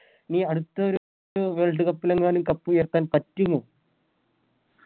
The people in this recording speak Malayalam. ഈ അടുത്തൊരു Worldcup ലെങ്ങാനും Cup ഉയർത്താൻ പറ്റുമോ